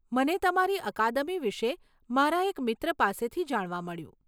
મને તમારી અકાદમી વિશે મારા એક મિત્ર પાસેથી જાણવા મળ્યું.